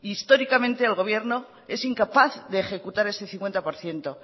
históricamente el gobierno es incapaz de ejecutar ese cincuenta por ciento